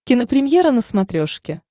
кинопремьера на смотрешке